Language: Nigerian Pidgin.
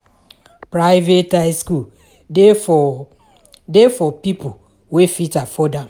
Private high school de for de for pipo wey fit afford am